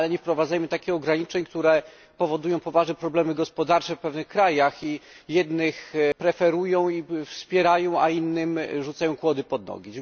Ale nie wprowadzajmy takich ograniczeń, które spowodują poważne problemy gospodarcze w pewnych krajach i jednych preferują i wspierają, a innym rzucają kłody pod nogi.